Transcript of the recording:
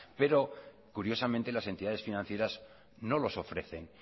pero curiosamente las entidades financieras no los ofrecen